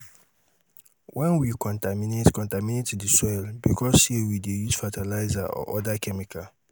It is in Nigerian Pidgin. when we contaminate contaminate di soil because sey we dey use fertiliser or oda chemical